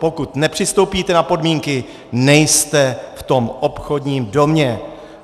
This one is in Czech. Pokud nepřistoupíte na podmínky, nejste v tom obchodním domě.